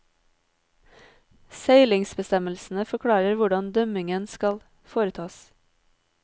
Seilingsbestemmelsene forklarer hvordan dømmingen skal foretas.